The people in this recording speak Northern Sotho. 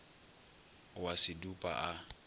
o a se dupa a